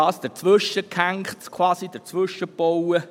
Das Kraftwerk wird quasi dazwischen gebaut.